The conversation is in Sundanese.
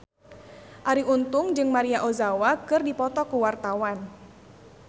Arie Untung jeung Maria Ozawa keur dipoto ku wartawan